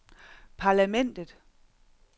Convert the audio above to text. parlamentet